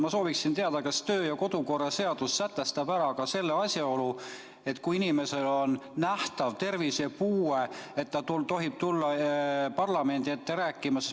Ma soovin teada, kas kodu- ja töökorra seadus sätestab ära ka selle, et kui inimesel on nähtav tervisepuue, siis kas ta tohib tulla parlamendi ette rääkima.